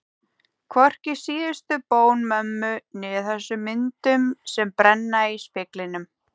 Hvorki síðustu bón mömmu né þessum myndum sem brenna í speglinum.